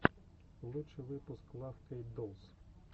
лучший выпуск лав кейт долс